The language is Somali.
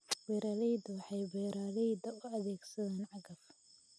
Beeraleydu waxay beeraleyda u adeegsadaan cagaf.